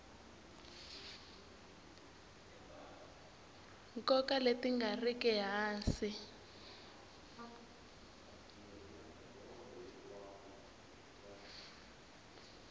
nkoka leti nga riki hansi